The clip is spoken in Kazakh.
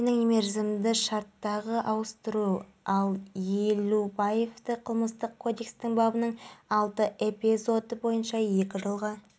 абылай сүлеймен ораза ұстаған және маусым күні кешкісін ауыз ашқаннан кейін досымен бірге ыстық күнде каспий теңізінде шомылмақшы болады